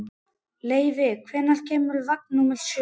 Leivi, hvenær kemur vagn númer sjö?